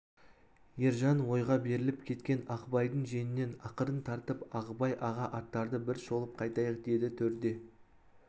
ержан ойға беріліп кеткен ағыбайдың жеңінен ақырын тартып ағыбай аға аттарды бір шолып қайтайық деді төрде